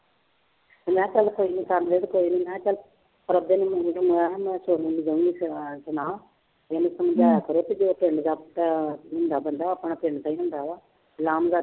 ਮੈਂ ਕਿਹਾ ਚੱਲ ਕੋਈ ਨੀ ਕਰ ਲਏ ਤੇ ਕੋਈ ਨੀ ਮੈਂ ਕਿਹਾ ਚੱਲ ਪ੍ਰਭੇ ਦੇ ਮੁੰਡੇ ਨੂੰ ਮੈਂ ਕਿਹਾ ਮੈਂ ਇਹਨੂੰ ਸਮਝਾਇਆ ਕਰੇ ਵੀ ਜੋ ਪਿੰਡ ਦਾ ਮੁੰਡਾ ਬੰਦਾ ਆਪਣਾ ਪਿੰਡ ਦਾ ਹੀ ਹੁੰਦਾ ਵਾ ਲਾਂਭ ਦਾ ਨੀ।